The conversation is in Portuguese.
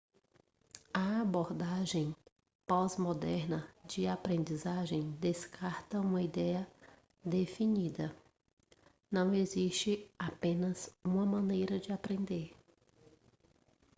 a abordagem pós-moderna de aprendizagem descarta uma ideia definida não existe apenas uma maneira de aprender